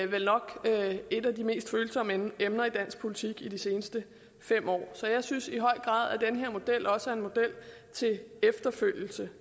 vel nok mest følsomme emner i dansk politik de seneste fem år så jeg synes i høj grad at den her model også er en model til efterfølgelse